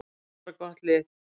Við erum bara gott lið.